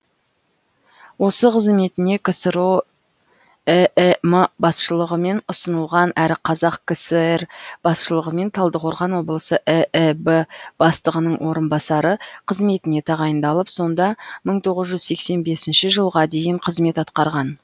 осы қызметіне ксро іім басшылығымен ұсынылған әрі қазақ кср басшылығымен талдықорған облысы ііб бастығының орынбасары қызметіне тағайындалып сонда мың тоғыз жүз сексен бесінші жылға дейін қызмет атқарған